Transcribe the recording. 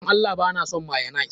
Dan Allah ba na son mayonnaise.